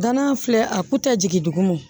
Danna filɛ a ku tɛ jigin duguma